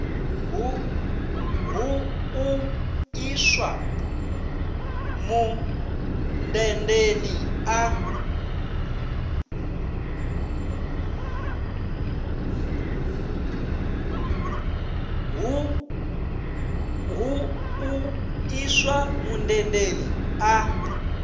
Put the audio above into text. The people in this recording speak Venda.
hu u iswa mundendeni a